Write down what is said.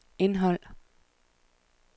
indhold